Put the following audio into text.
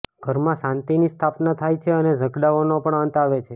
ઘરમાં શાંતિની સ્થાપના થાય છે અને ઝઘડાઓનો પણ અંત આવે છે